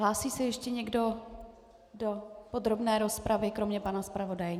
Hlásí se ještě někdo do podrobné rozpravy kromě pana zpravodaje?